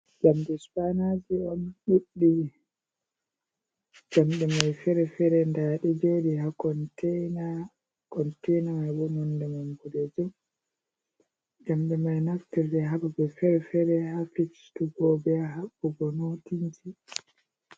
Jamɗe supainaji on ɗuɗɗi, jamɗe mai fere fere nda ɗe joɗi ha contena, nonde man boɗejum jamɗe mai ɗonaftire hababal fere fere ha fistugo be haɓɓugo notinji.